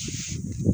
Sanunɛgɛnin yo wa